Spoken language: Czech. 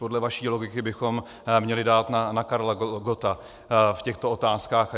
Podle vaší logiky bychom měli dát na Karla Gotta v těchto otázkách.